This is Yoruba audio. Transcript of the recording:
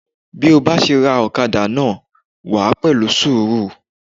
Bí o bá ṣe ra ọ̀kadà náà wàá pẹ̀lú sùúrù